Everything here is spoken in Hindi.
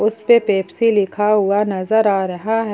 जिसपे पेप्सी लिखा हुआ नजर आ रहा है।